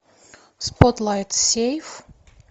спотлайт сейф